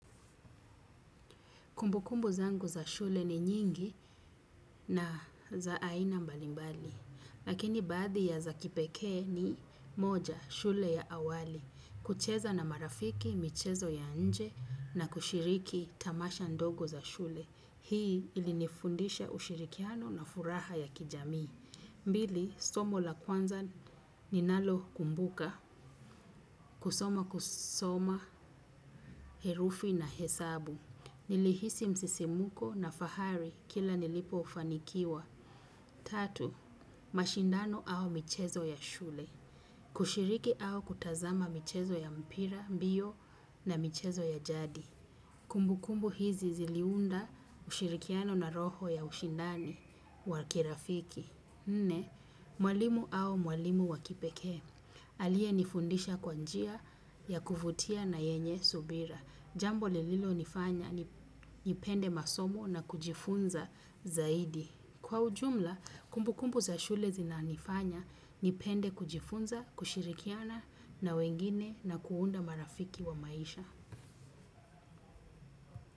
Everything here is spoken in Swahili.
Kumbukumbu zangu za shule ni nyingi na za aina mbalimbali. Lakini baadhi ya za kipekee ni moja shule ya awali. Kucheza na marafiki michezo ya nje na kushiriki tamasha ndogo za shule. Hii ilinifundisha ushirikiano na furaha ya kijamii. Mbili, somo la kwanza ninalokumbuka, kusoma kusoma herufi na hesabu. Nilihisi msisimko na fahari kila nilipofanikiwa. Tatu, mashindano au michezo ya shule. Kushiriki au kutazama michezo ya mpira, mbio na michezo ya jadi. Kumbukumbu hizi ziliunda ushirikiano na roho ya ushindani wa kirafiki. Nne, mwalimu au mwalimu wa kipekee. Alienifundisha kwa njia ya kuvutia na yenye subira. Jambo lililo nifanya nipende masomo na kujifunza zaidi. Kwa ujumla, kumbukumbu za shule zinanifanya nipende kujifunza, kushirikiana na wengine na kuunda marafiki wa maisha.